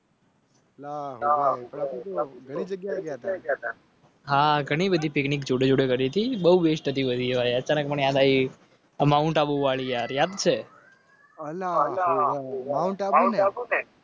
હા ઘણી બધી picnic જોડે જોડે કરી હતી બહુ Best હતી અત્યારે મને યાદ આયવી આ Mount abu વાળી યાર યાદ છે અલા Mount abu ને